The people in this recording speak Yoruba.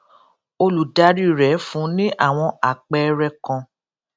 olùdarí rè fún un ní àwọn àpẹẹrẹ kan